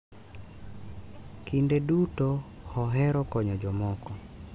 Kinde duto ohero konyo jomoko.